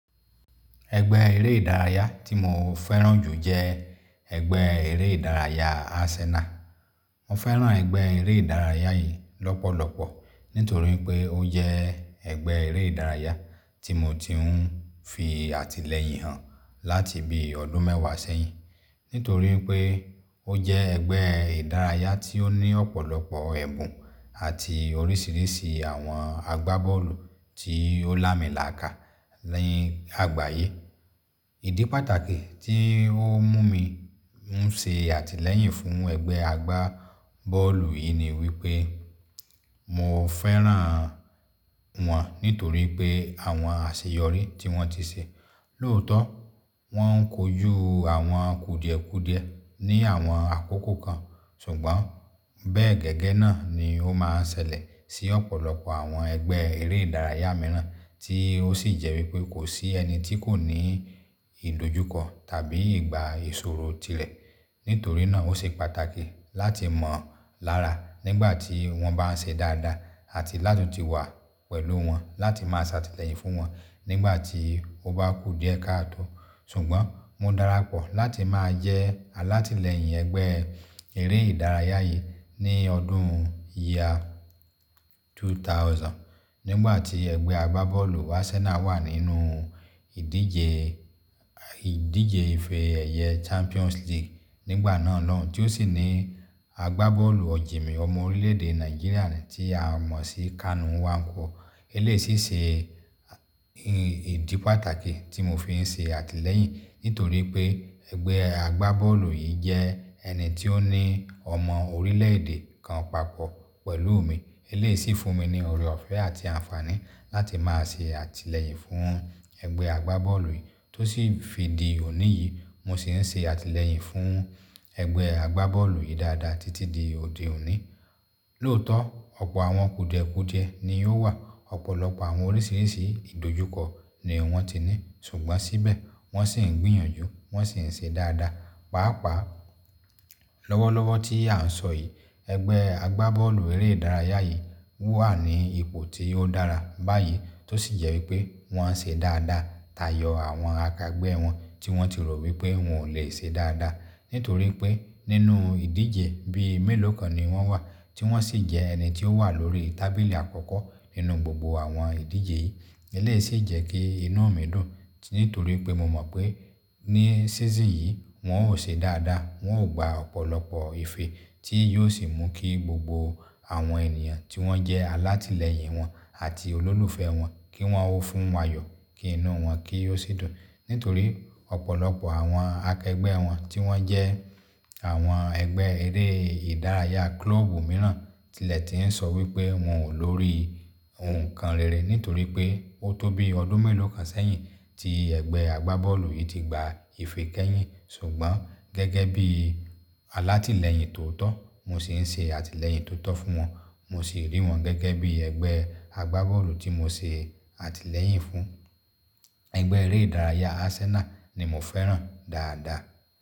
Ẹgbẹ́ eré ìdárayá tí mo fẹ́ràn jù jẹ́ ẹgbẹ́ eré ìdárayá Arsenal. Mo fẹ́ràn ẹgbẹ́ eré ìdárayá yìí lọ́pọ̀lọpọ̀ nítorí pé ó jẹ́ ẹgbẹ́ eré ìdárayá tí mo ti ń fi àtìlẹ́yìn hàn láti bíi ọdún mẹ́wàá sẹ́yìn. Nítorí pé ó jẹ́ ẹgbẹ́ ìdárayá tí ó ní ọ̀pọ̀lọpọ̀ ẹ̀bùn àti oríṣiríṣi àwọn agbábọ́ọ̀lù tí ó lààmìlaaka ní àgbáyé. Ìdí pàtàkì tí ó mú mi ń ṣe àtìlẹ́yìn fún ẹgbẹ́ agbá bọ́ọ̀lù yìí ni wípé mo fẹ́ràn wọn nítorí pé àwọn àṣeyọrí tí wọ́n ti ṣe. Lóòótọ́ wọ́n ń kojú àwọn kùdìẹ̀kudiẹ ní àwọn àkókò kan, ṣùgbọ́n bẹ́ẹ̀ gẹ́gẹ́ náà ni ó máa ń ṣẹlẹ̀ sí ọ̀pọ̀lọpọ̀ àwọn ẹgbẹ́ eré ìdárayá mìíràn tí ó sì jẹ́ wípé kò sí ẹni tí kò ní ìdojúkọ tàbí ìgba ìṣòro tirẹ̀. Nítorí náà ó ṣe pàtàkì láti mọ̀ lára nígbà tí wọ́n bá ń ṣe dáadáa àti láti wà pẹ̀lú wọn láti máa ṣàtìlẹ́yìn fún wọn nígbà tí ó bá kù díẹ̀ káàtó Ṣùgbọ́n mo dara pọ̀ láti máa jẹ́ alátìlẹ́yìn ẹgbẹ́ eré ìdárayá yìí ní ọdún year 2000 nígbà tí ẹgbẹ́ agbá bọ́ọ̀lù Arsenal wà nínú ìdíje, ìdíje ife ẹ̀yẹ Champions League nígbà náà lóhùn-ún tí ó sì ní agbá bọ́ọ̀lù ọ̀jìnmì ọmọ orílẹ̀-èdè Nàìjíríà tí a mọ̀ sí Kanu Nwankwo. Eléyìí sì ṣe ìdí pàtàkì tí mo fi ń ṣe àtìlẹ́yìn nítorí pé ẹgbẹ́ agbá bọ́ọ̀lù yìí jẹ́ ẹni tí ó ní ọmọ orílẹ̀-èdè kan papọ̀ pẹ̀lúù mi. Eléyìí sì fún mi ní oore ọ̀fẹ́ àti àǹfààní láti máa ṣe àtìlẹ́yìn fún ẹgbẹ́ agbá bọ́ọ̀lù yìí tó sì fi di òní yìí mo sì ń ṣe àtìlẹ́yìn fún ẹgbẹ́ agbá bọ́ọ̀lù yìí dáadáa títí di òde òní. Lóòótọ́ ọ̀pọ̀ àwọn kùdìẹ̀kudiẹ ni yóò wà, ọ̀pọ̀lọpọ̀ àwọn oríṣiríṣi ìdojúkọ ni wọ́n ti ní, ṣùgbọ́n síbẹ̀ wọ́n sì ń gbìyànjú, wọ́n sì ń ṣe dáadáa. Pàápàá lọ́wọ́lọ́wọ́ tí à ń sọ yìí, ẹgbẹ́ agbá bọ́ọ̀lù eré ìdárayá yìí wà ní ipò tí ó dára báyìí tó sì jẹ́ wípé wọ́n ń ṣe dáadáa táyọ àwọn akẹgbẹ́ wọn tí wọ́n ti rò wípé wọn ò leè ṣe dáadáa. Nítorí pé nínú ìdíje bí i mélòó kan ni wọ́n wà tí wọ́n sì jẹ́ ẹni tí ó wà lóríi tábìlì àkọ́kọ́ nínú gbogbo àwọn ìdíje yìí. Eléyìí sì jẹ́ kí inú mi dùn nítorí pé mo mọ̀ pé ní season yìí wọn ó ṣe dáadáa, wọn ó gba ọ̀pọ̀lọpọ̀ ife tí yóò sì mú kí gbogbo àwọn ènìyàn tí wọ́n jẹ́ alátìlẹ́yìn wọn àti olólùfẹ́ wọn kí wọn ó fún ayọ̀, kí inú wọn kí ó sì dùn. Nítorí ọ̀pọ̀lọpọ̀ àwọn akẹgbẹ́ wọn tí wọ́n jẹ́ àwọn ẹgbẹ́ eré ìdárayá klọ́ọ̀bù mìíràn tilẹ̀ ti ń sọ wípé wọn ò lórí nǹkan rere nítorí pé ó tó bíi ọdún mélòó kan sẹ́yìn tí ẹgbẹ́ agbá bọ́ọ̀lù yìí ti gba ife kẹ́yìn. Ṣùgbọ́n gẹ́gẹ́ bíi alátìlẹ́yìn tòótọ́, mo sì ń ṣe àtìlẹyìn tó tọ́ fún wọn, mo sì rí wọn gẹ́gẹ́ bíi ẹgbẹ́ agbá bọ́ọ̀lù tí mo ṣe àtìlẹ́yìn fún. Ẹgbẹ́ eré ìdárayá Arsenal ni mo fẹ́ràn dáadáa.